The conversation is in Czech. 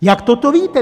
Jak toto víte?